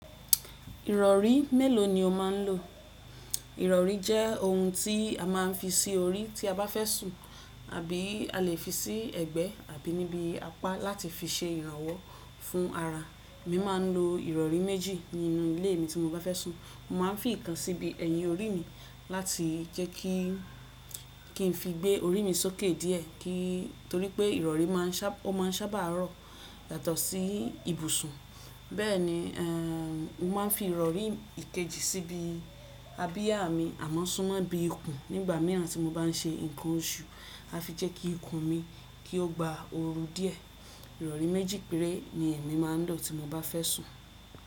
Ìrọ̀rí mélòó ni o máà ń lò? Ìrọ̀rí jẹ́ ohun tí a máa ń fi sí orí tí a bá fẹ́ sùn àbí a lè fi sí ẹ̀gbẹ́ àbí níbi apá láti fi ṣe ìrànwọ́ fún ara. Mo máa ń lo ìrọ̀rí méjì nínú ilé mi tí mo bá fẹ́ sùn. Mo máa ń fi ìkan síbi ẹyin orí mi láti jẹ́ kí —kí n fi gbé orí mi sókè díẹ—ki torí pé ìrọ̀rí máa ń sábà—ó maá ṣábà rọ yàtọ̀ sí ibùsùn. Bẹ́ẹ̀ni eerm, mo máa ń fi ìrọ̀rí ìkejì síbi abiyá mi àmọ́ súnmọ́ ibi ikùn nígbà mìíràn tí mo bá n ṣe nǹkan oṣù láti jẹ́ kí ikùn mi, kí ó gba ooru díẹ̀. Ìrọ̀rí méjì péré ni ẹ́mi máa ń lò tí mo bá fẹ́ sùn.